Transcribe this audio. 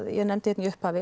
ég nefndi hérna í upphafi